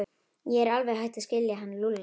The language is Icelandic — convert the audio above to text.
Ég er alveg hætt að skilja hann Lúlla.